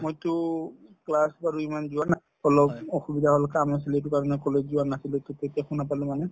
মইতো class বাৰু ইমান যোৱা নাই অলপ অসুবিধা হল অলপ কাম আছিলে সেইটো কাৰণে college যোৱা নাছিলো পিছতহে শুনা পালো মানে